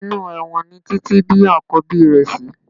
Inú ẹ̀wọ̀n ni Títí bí Àkọ́bí rẹ̀ sí